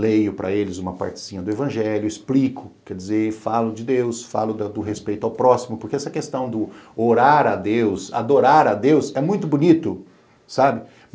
leio para eles uma partezinha do evangelho, explico, quer dizer, falo de Deus, falo do respeito ao próximo, porque essa questão do orar a Deus, adorar a Deus, é muito bonito, sabe?